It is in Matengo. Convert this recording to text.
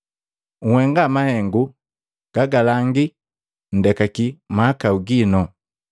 Nhenga mahengu gagalangi nndekaki mahakau gino.